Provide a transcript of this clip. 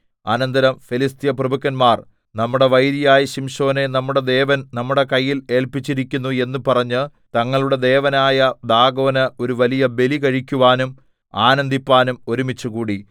അനന്തരം ഫെലിസ്ത്യ പ്രഭുക്കന്മാർ നമ്മുടെ വൈരിയായ ശിംശോനെ നമ്മുടെ ദേവൻ നമ്മുടെ കയ്യിൽ ഏല്പിച്ചിരിക്കുന്നു എന്ന് പറഞ്ഞ് തങ്ങളുടെ ദേവനായ ദാഗോന് ഒരു വലിയ ബലി കഴിക്കുവാനും ആനന്ദിപ്പാനും ഒരുമിച്ചുകൂടി